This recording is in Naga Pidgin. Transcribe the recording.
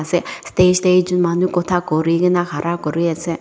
se stage tae ekjun manu khota kurikae na khara kuriase.